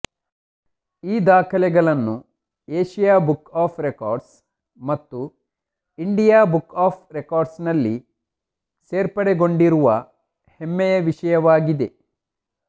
ಈ ದಾಖಲೆಗಳನ್ನು Asia book of records ಮತ್ತು ಇಂಡಿಯಾ ಬುಕ್ ಆಫ್ ರೆಕಾಡ್ರ್ಸ್ನಲ್ಲಿ ಸೇರ್ಪಡೆಗೊಂಡಿರುವ ಹೆಮ್ಮೆಯ ವಿಷಯವಾಗಿದೆ